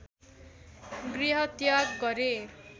गृहत्याग गरे